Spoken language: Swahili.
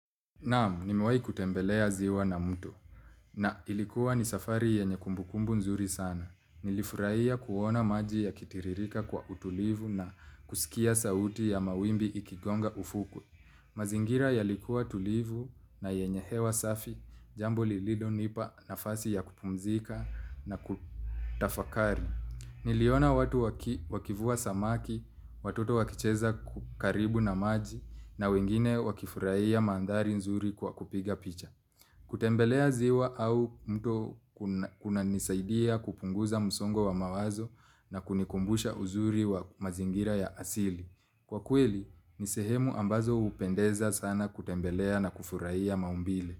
Naam, nimewahi kutembelea ziwa na mtu. Na ilikuwa ni safari yenye kumbukumbu nzuri sana. Nilifuraiya kuona maji ya kitiririka kwa utulivu na kusikia sauti ya mawimbi ikigonga ufukwe. Mazingira yalikuwa tulivu na yenye hewa safi, jambo lililo nipa nafasi ya kupumzika na kutafakari. Niliona watu wakivua samaki, watoto wakicheza kukaribu na maji na wengine wakifurahi ya mandhari nzuri kwa kupiga picha. Kutembelea ziwa au mto kuna nisaidia kupunguza msongo wa mawazo na kunikumbusha uzuri wa mazingira ya asili. Kwa kweli, nisehemu ambazo hupendeza sana kutembelea na kufurahia ya maumbile.